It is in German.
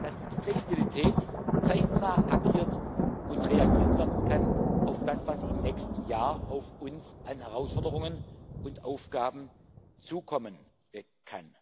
dass mit Flexibilität zeitnah agiert und auf das reagiert werden kann, was im nächsten Jahr an Herausforderungen und Aufgaben auf uns zukommen kann.